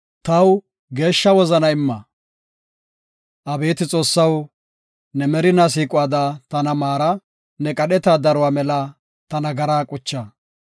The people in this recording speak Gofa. Abeeti Xoossaw, ne merinaa siiquwada tana maara; ne qadheta daruwa mela ta nagaraa qucha.